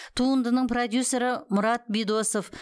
туындының продюсері мұрат бидосов